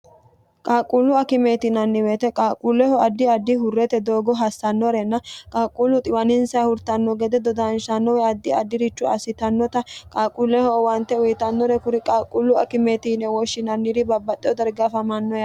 qaaqquullu akimeeti yinanni woyete qaaqquulleho addi addi hurrete doogo hassannorenna qaaqquullu xiwaninsayi hurtanno gede dodaanshanno woy addi addirichu assitannota qaaquulleho owante uyitannore kuri qaaqquullu akimeeti yine woshshinanniri babbaxxeo darga afamanno yaate.